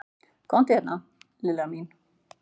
Komdu hérna Lilla mín.